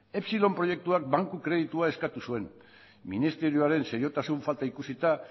epsilon proiektuak banku kreditua eskatu zuen ministerioaren seriotasun falta ikusita